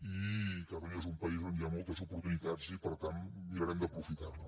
i catalunya és un país on hi ha moltes oportunitats i per tant mirarem d’aprofitar les